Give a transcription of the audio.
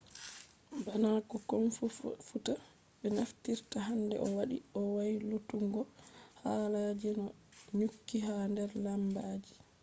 bana fu komfuta be naftirta hande do wadi o waylutuggo haala je dum do nyukki ha der lambaji